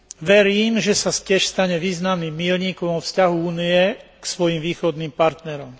Verím, že sa tiež stane významným míľnikom vo vzťahu Únie k svojim východným partnerom.